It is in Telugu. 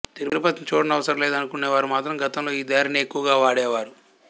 తిరుపతి చూడ నవసరం లేదనుకొనే వారు మాత్రం గతంలో ఈ దారినే ఎక్కువగా వాడే వారు